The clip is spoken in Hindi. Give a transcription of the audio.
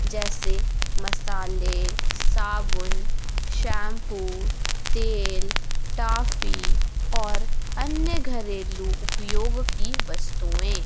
जैसे मसले साबुन शैंपू तेल ट्रॉफी और अन्य घरेलू उपयोग की वस्तुएं--